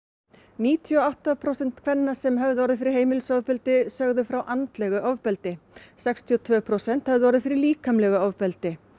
níutíu og átta prósent kvenna sem höfðu orðið fyrir heimilisofbeldi sögðu frá andlegu ofbeldi sextíu og tvö prósent þeirra höfðu orðið fyrir líkamlegu ofbeldi